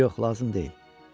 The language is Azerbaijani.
Yox, lazım deyil.